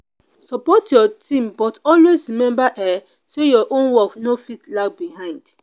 support your team but always remember um say your own work no fit lag behind.